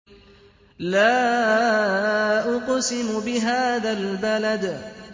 لَا أُقْسِمُ بِهَٰذَا الْبَلَدِ